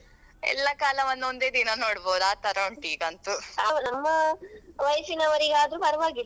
ಹಾ ಹಾಗಾಗಿದೆ